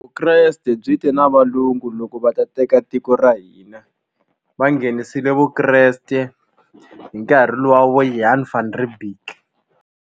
Vukreste byi te na valungu loko va ta teka tiko ra hina va nghenisile vukreste hi nkarhi luwa wa vo Jan van Riebeeck.